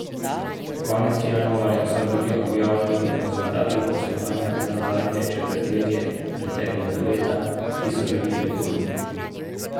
Konec januarja so bili objavljeni rezultati poslovanja za zadnje četrtletje preteklega leta, ki so bili rekordni.